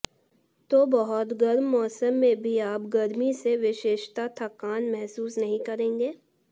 तो बहुत गर्म मौसम में भी आप गर्मी से विशेषता थकान महसूस नहीं करेंगे